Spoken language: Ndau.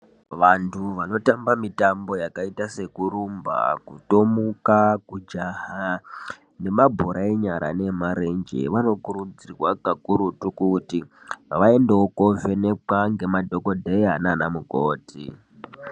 Vantu vanotamba mitambo yakaita sekurumba, kutomuka, kujaha nemabhora enyara neemarenje vanokurudzirwa kakurutu kuti vaendewo kovhenekwa ngemadhokodheya naanamukoti.